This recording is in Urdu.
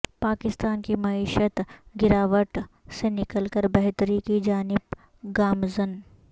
پاکستان کی معیشت گرواٹ سے نکل کر بہتری کی جانب گامزن